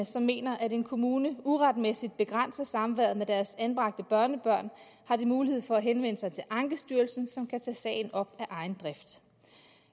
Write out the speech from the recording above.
som mener at en kommune uretmæssigt begrænser samværet med deres anbragte børnebørn har de mulighed for at henvende sig til ankestyrelsen som kan tage sagen op af egen drift